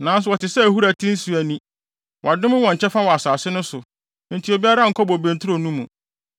“Nanso wɔte sɛ ahuru a ɛte nsu ani; wɔadome wɔn kyɛfa wɔ asase no so, enti obiara nkɔ bobe nturo no mu.